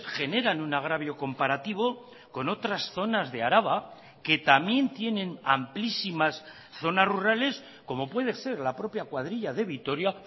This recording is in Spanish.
generan un agravio comparativo con otras zonas de araba que también tienen amplísimas zonas rurales como puede ser la propia cuadrilla de vitoria